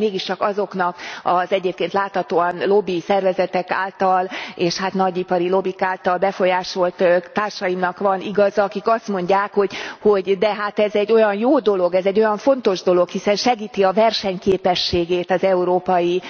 Lehet, hogy mégiscsak azoknak az egyébként láthatóan lobbi szervezetek által és hát nagyipari lobbik által befolyásolt társaimnak van igaza, akik azt mondják, hogy de hát ez egy olyan jó dolog, ez egy olyan fontos dolog, hiszen segíti a versenyképességét az európai